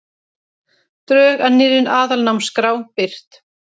Drög að nýrri aðalnámskrá birt